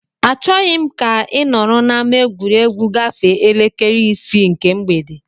Achọghị m ka ị nọrọ n'ama egwuregwu gafee elekere isii nke mgbede!